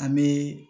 An bee